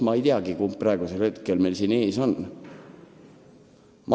Ma ei teagi, kumb meil praegu siin ees on.